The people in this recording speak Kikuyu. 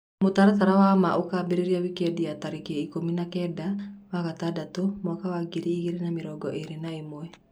Mũtaratara wa maa ũkambĩrĩria wikendi ya tarĩki ikũmi na-kenda wa gatandatũ mwaka wa ngiri igĩrĩ na mĩrongo ĩrĩ na ĩmwe.